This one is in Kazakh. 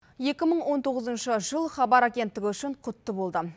екі мың он тоғызыншы жыл хабар агенттігі үшін құтты болды